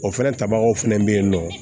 O fɛnɛ tabagaw fɛnɛ bɛ yen nɔ